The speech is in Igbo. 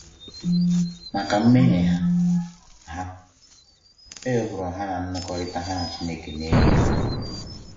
Maka mmehie ha, ha, e wepụrụ ha na nnọkọrịta ha na Chineke na-enye ndụ!